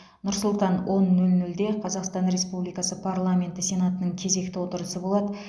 нұр сұлтан он нөл нөлде қазақстан республикасы парламенті сенатының кезекті отырысы болады